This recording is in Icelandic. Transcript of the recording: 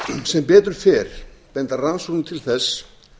sem betur fer benda rannsóknir til þess